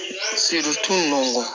Siritu nunnu kɔ